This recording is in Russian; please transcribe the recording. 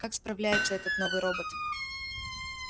как справляется этот новый робот